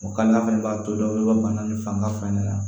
O ka nan fɛnɛ b'a to dɔ bɛ bana ni fanga fɛn de la